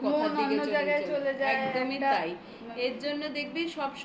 ফেলে অন্য কোথার দিকে চলে যায় মন অন্য জায়গায় চলে যায়. একদমই তাই.এর জন্য দেখবি